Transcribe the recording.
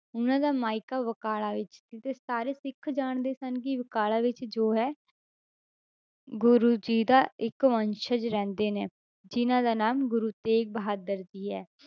ਉਹਨਾਂ ਦਾ ਮਾਇਕਾ ਬਕਾਲਾ ਵਿੱਚ ਸੀ ਤੇ ਸਾਰੇ ਸਿੱਖ ਜਾਣਦੇ ਸਨ ਕਿ ਬਕਾਲਾ ਵਿੱਚ ਜੋ ਹੈ ਗੁਰੂ ਜੀ ਦਾ ਇੱਕ ਵੰਸ਼ਜ ਰਹਿੰਦੇ ਨੇ ਜਿੰਨਾਂ ਦਾ ਨਾਮ ਗੁਰੂ ਤੇਗ ਬਹਾਦਰ ਜੀ ਹੈ,